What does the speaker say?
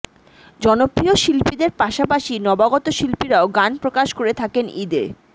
জনপ্রিয় শিল্পীদের পাশাপাশি নবাগত শিল্পীরাও গান প্রকাশ করে থাকেন ঈদে